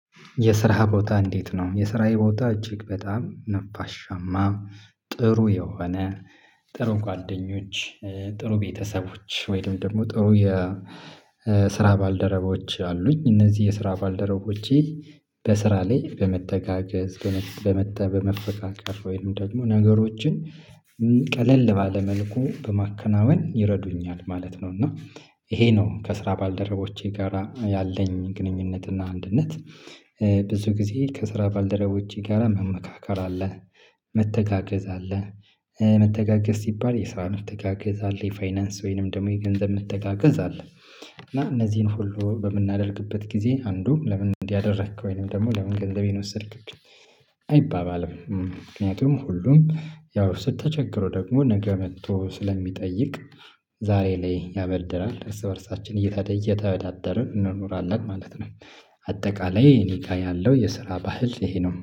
የስራ ቦታ እንዴት ነው የስራዬ ቦታ እጅግ በጣም ነፋሻማ ጥሩ የሆነ ጥሩ ጓደኞች ጥሩ ቤተሰቦች ወይም ደግሞ ጥሩ የስራ ባልደረቦች አሉኝ እነዚህ የስራ ባልደረቦቼ በስራ ላይ በመተጋገዝ በመተበ በመፈቃቀር ወይም ደግሞ ነገሮችን ቀለል ባለ መልኩ በማከናወን ይረዱኛል ማለት ነው። እና ይሄ ነው ከስራ ባልደረቦቼ ጋራ ያለኝ ግንኙነት እና አንድነት። ብዙ ጊዜ ከስራ ባልደረቦች ጋራ መመካከር አለ። መተጋገዝ አለ። መተጋገዝ ሲባል የስራ መተጋገዝ አለ የፋይናንስ ወይንም ደግሞ የገንዘብ መተጋገዝ አለ። እና እነዚህን ሁሉ በምናደርግበት ጊዜ አንዱ ለምን እንዲህ አደረክ ወይንም ደግሞ ለምን ገንዘቤን ወሰድክ? አይባባልም። ምክንያቱም ሁሉም ያው ስትቸግሩ ደግሞ ነገ መጥቶ ስለሚጠይቅ ዛሬ ላይ ያበድራል እርስ በእርሳችን እየተበደደርን እንኖራለን ማለት ነው። አጠቃላይ እኔ ጋር ያለው የስራ ባህል ይሄ ነው